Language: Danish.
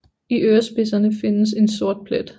I ørespidserne findes en sort plet